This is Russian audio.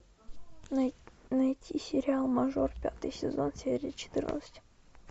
найти сериал мажор пятый сезон серия четырнадцать